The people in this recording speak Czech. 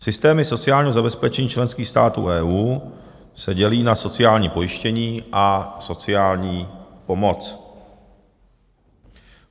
Systémy sociálního zabezpečení členských států EU se dělí na sociální pojištění a sociální pomoc.